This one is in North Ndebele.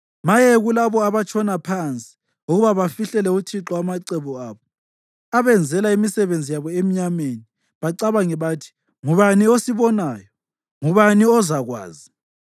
Maye kulabo abatshona phansi ukuba bafihlele uThixo amacebo abo, abenzela imisebenzi yabo emnyameni bacabange bathi, “Ngubani osibonayo? Ngubani ozakwazi?”